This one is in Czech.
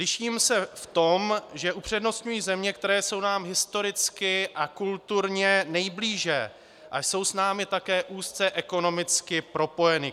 Liším se v tom, že upřednostňuji země, které jsou nám historicky a kulturně nejblíže a jsou s námi také úzce ekonomicky propojeny.